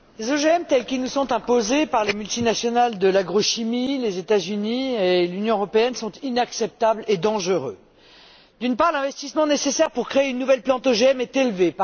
Madame la Présidente, les OGM tels qu'ils nous sont imposés par les multinationales de l'agrochimie, les États Unis et l'Union européenne sont inacceptables et dangereux. D'une part, l'investissement nécessaire pour créer une nouvelle plante OGM est élevé.